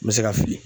N bɛ se ka fili